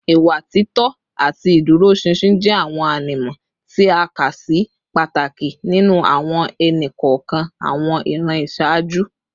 Ìwà títọ́ àti ìdúróṣinṣin jẹ́ àwọn ànímọ́ tí a kà sí pàtàkì nínú àwọn ẹnì kọ̀ọ̀kan àwọn ìran ìṣáájú